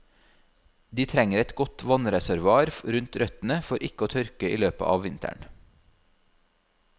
De trenger et godt vannreservoar rundt røttene for ikke å tørke i løpet av vinteren.